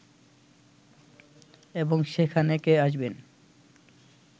এবং সেখানে কে আসবেন